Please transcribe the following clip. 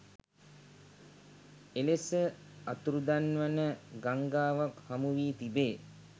එලෙස අතුරුදන් වන ගංඟාවක් හමු වී තිබේ